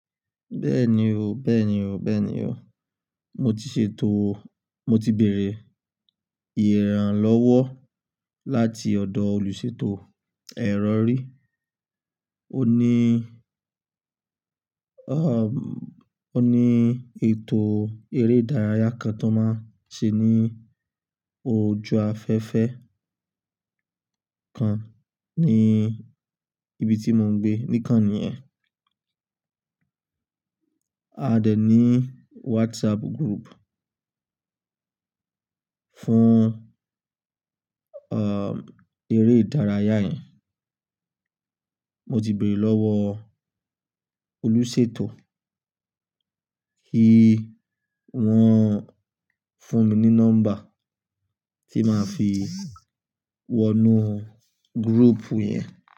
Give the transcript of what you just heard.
Bẹ́ẹ̀ni o, bẹ́ẹ̀ni o, bẹ́ẹ̀ni o. Mo ti ṣètò, mo ti bèèrè ìrànlọ́wọ́ láti ọ̀dọ̀ olùṣètò ẹ̀rọ ri. Ó ní, ó ní ètò eré ìdárayá kan tó máa ṣe ní ojú afẹ́fẹ́ kan ní ibi tí mò ń gbé, nìkan nìyẹn. A dẹ̀ ní WhatsApp group fún, um, eré ìdárayá yẹn. Mo ti béèrè lọ́wọ́ olùṣètò, kí wọ́n fún mi ní nọ́mbà tí màá fi wọnú group yẹn.